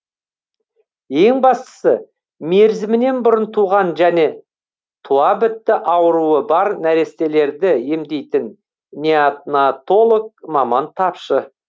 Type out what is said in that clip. ең бастысы мерзімінен бұрын туған және туабітті ауруы бар нәрестелерді емдейтін неонатолог маман тапшы